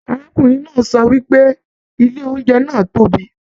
Arákùnrin náà sọ wípé ilé oúnjẹ náà tóbi.